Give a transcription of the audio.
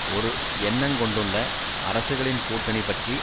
ஒரு எண்ணங்கொண்டுள்ள அரசுகளின் கூட்டணி பற்றி